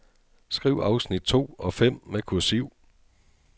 Skriv afsnit to og fem med kursiv.